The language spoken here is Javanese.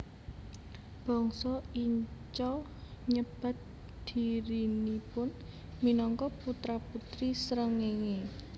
Bangsa Inca nyebat dhirinipun minangka putra putri srengéngé